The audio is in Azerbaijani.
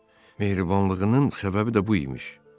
Mehribanlığının səbəbi də bu imiş.